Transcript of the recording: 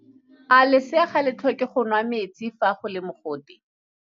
A lesea ga le tlhoke go nwa metsi fa go le mogote?